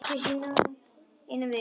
Eina vininn.